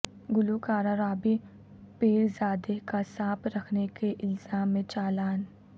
گلوکارہ رابی پیرزادہ کا سانپ رکھنے کے الزام میں چالان